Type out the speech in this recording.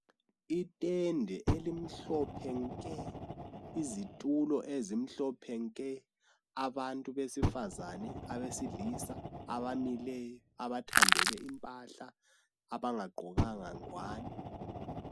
Itende elimhlophe nke, izitulo ezimhlophe nke, abantu besifazani, abesilisa abamileyo, abathandele impahla, abangaqgokanga ngwani.